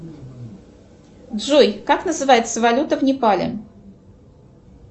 джой как называется валюта в непале